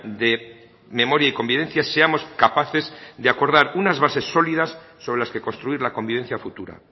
de memoria y convivencia seamos capaces de acordar unas bases sólidas sobre las que construir la convivencia futura